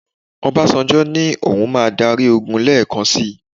Obasanjo ní òun máa dárí ogun lẹ́ẹ̀kan sì.